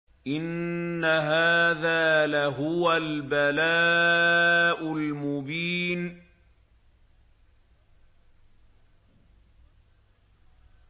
إِنَّ هَٰذَا لَهُوَ الْبَلَاءُ الْمُبِينُ